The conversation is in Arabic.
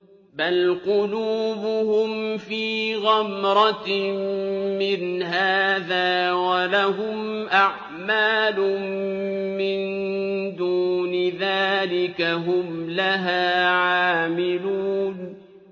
بَلْ قُلُوبُهُمْ فِي غَمْرَةٍ مِّنْ هَٰذَا وَلَهُمْ أَعْمَالٌ مِّن دُونِ ذَٰلِكَ هُمْ لَهَا عَامِلُونَ